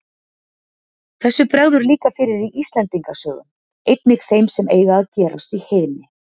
Þessu bregður líka fyrir í Íslendinga sögum, einnig þeim sem eiga að gerast í heiðni.